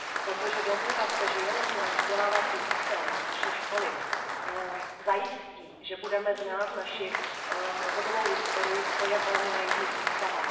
Protože domnívat se, že jenom náš vzdělávací systém, naše školy zajistí, že budeme znát naši novodobou historii, to je velmi naivní představa.